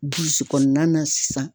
Burusi kɔnɔna na sisan.